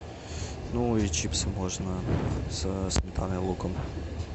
ну и чипсы можно со сметаной и луком